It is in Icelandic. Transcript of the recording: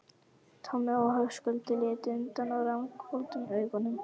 Tommi og Höskuldur litu undan og ranghvolfdu augunum.